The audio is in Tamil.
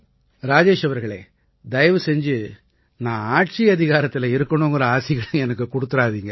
ராஜேஷ் அவர்களே தயவு செஞ்சு நான் ஆட்சியதிகாரத்தில இருக்கணுங்கற ஆசிகளை எனக்குக் கொடுக்காதீங்க